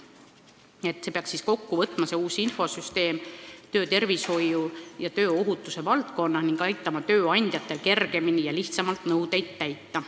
See uus infosüsteem peaks siis kokku võtma töötervishoiu ja tööohutuse valdkonna ning aitama tööandjatel kergemini ja lihtsamalt nõudeid täita.